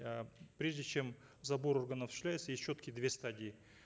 э прежде чем забор органов осуществляется есть четкие две стадии